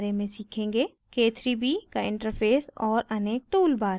k3b का interface और अनेक toolbars